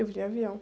Eu vim de avião.